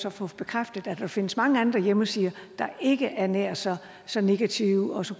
at få bekræftet at der findes mange andre hjemmesider der ikke er nær så så negative og så